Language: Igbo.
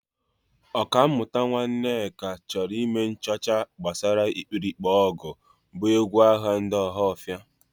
Ọkammụta Nwaneke chọrọ ime nchọcha gbasara ikpirikpe ọgụ bụ egwu agha ndị Ọhafia.